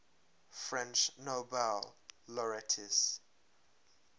french nobel laureates